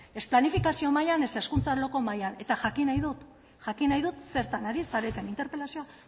ez planifikazio maila ez hezkuntza arloko mahaian eta jakin nahi dut jakin nahi dut zertan ari zareten interpelazioa